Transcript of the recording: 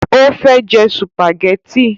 Ó fẹ́ jẹ sùpàgẹ́tì